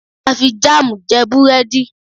a fi jam je burẹdi